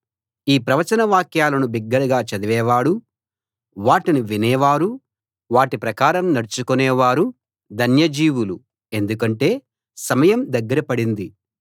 ఈ ప్రవచన వాక్యాలను బిగ్గరగా చదివేవాడూ వాటిని వినే వారూ వాటి ప్రకారం నడుచుకునే వారూ ధన్య జీవులు ఎందుకంటే సమయం దగ్గర పడింది